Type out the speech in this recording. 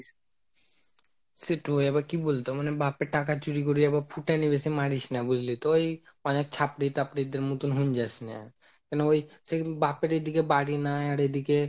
সেটই আবার কি বোলতো হয় মানে বাপের টাকা আবার চুরি করে আবার ফুটানি বেশি মারিস না বুঝলি তো, এই মানে ছাপড়ি তাপড়ি দেড় মতো হয়ে যাসনা মানে সেই বাপের এদিকে বাড়ি নাই আর এদিকে,